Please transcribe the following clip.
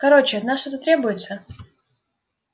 короче от нас что-то требуется